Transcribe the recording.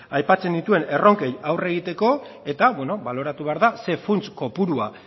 aipatzen nituen erronkei aurre egiteko eta beno baloratu behar da ze funts kopurua